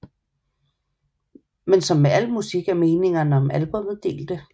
Men som med alt musik er meningerne om albummet delte